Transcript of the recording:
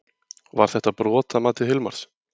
Var þetta brot að mati Hilmars?